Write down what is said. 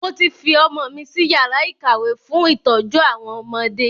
Mo ti fi ọmọ mi si yàrá ìkàwé fún ìtọ́jú àwọn ọmọdé